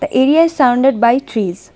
The area is surrounded by trees.